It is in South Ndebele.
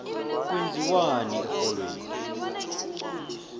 kwenziwani erholweni